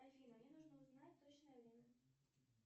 афина мне нужно узнать точное время